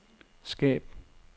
skab